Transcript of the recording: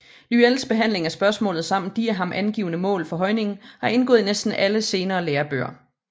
Lyells behandling af spørgsmålet samt de af ham angivne mål for højningen har indgået i næsten alle senere lærebøger